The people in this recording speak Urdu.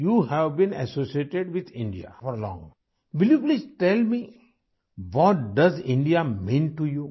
کیا آپ بتا سکتی ہیں کہ بھارت ،آپ کے لئے کیا حیثیت رکھتا ہے ؟